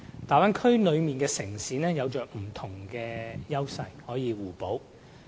大灣區內的城市有着不同的優勢，可以互補。